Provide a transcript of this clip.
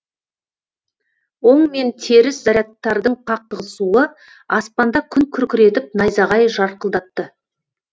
оң мен теріс зарядтардың қақтығысуы аспанда күн күркіретіп найзағай жарқылдатты